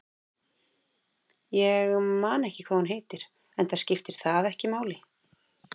Ég man ekki hvað hún heitir, enda skiptir það ekki máli.